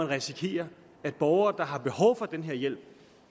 risikerer at borgere der har behov for den her hjælp